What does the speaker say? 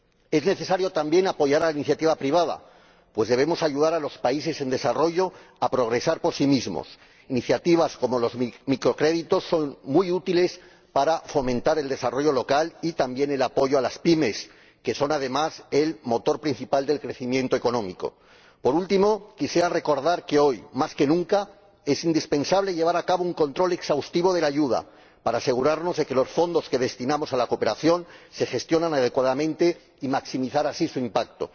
Es necesario también apoyar la iniciativa privada, pues debemos ayudar a los países en desarrollo a progresar por sí mismos iniciativas como los microcréditos son muy útiles para fomentar el desarrollo local, y también el apoyo a las PYME, que son, además, el motor principal del crecimiento económico. Por último, quisiera recordar que hoy, más que nunca, es indispensable llevar a cabo un control exhaustivo de la ayuda para asegurarnos de que los fondos que destinamos a la cooperación se gestionan adecuadamente y maximizar así su impacto.